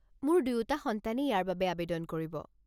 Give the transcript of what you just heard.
মোৰ দুয়োটা সন্তানেই ইয়াৰ বাবে আৱেদন কৰিব।